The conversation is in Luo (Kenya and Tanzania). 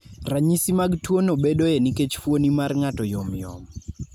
Ranyisi mag tuwono bedoe nikech fuoni mar ng'ato yomyom.